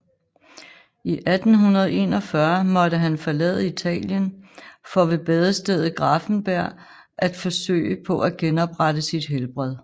I 1841 måtte han forlade Italien for ved badestedet Gräfenberg at forsøge på at genoprette sit helbred